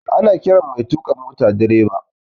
Ana ƙiran mai tuka mota direba